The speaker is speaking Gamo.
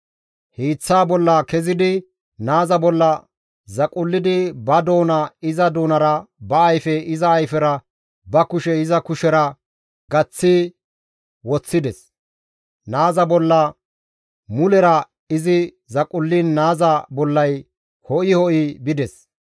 Hiiththaa bolla kezidi naaza bolla zaqullidi ba doona iza doonara, ba ayfe iza ayfera, ba kushe iza kushera gaththi woththides; naaza bolla mulera izi zaqulliin naaza bollay ho7i ho7i bides.